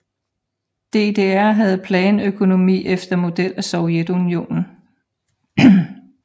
DDR havde planøkonomi efter model af Sovjetunionen